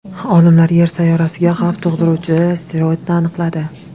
Olimlar Yer sayyorasiga xavf tug‘diruvchi asteroidni aniqladi.